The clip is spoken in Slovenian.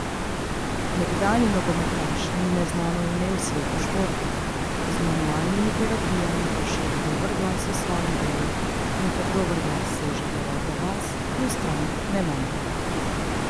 Nekdanji nogometaš ni neznano ime v svetu športa, z manualnimi terapijami pa širi dober glas o svojem delu, in ker dober glas seže v deveto vas, mu strank ne manjka.